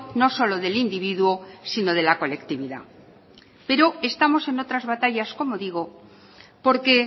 no solo del individuo sino de la colectividad pero estamos en otras batallas como digo porque